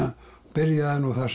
byrjaði nú þar